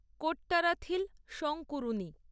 Kottarathil Sankunni